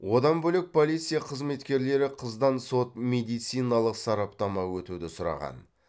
одан бөлек полиция қызметкерлері қыздан сот медициналық сараптама өтуді сұраған